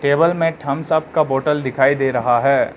Table में Thums Up का bottle दिखाई दे रहा है।